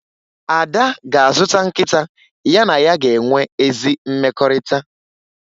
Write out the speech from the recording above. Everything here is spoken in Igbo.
Ada ga-azụta nkịta ya na ya ga-enwe ezi mmekọrịta